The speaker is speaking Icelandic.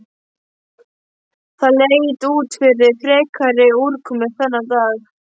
Það leit ekki út fyrir frekari úrkomu þennan dag.